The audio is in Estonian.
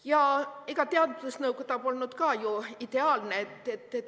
Ja ega teadusnõukoda polnud ka ju ideaalne.